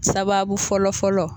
Sababu fɔlɔ fɔlɔ